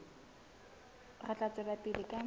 re tla tswela pele ka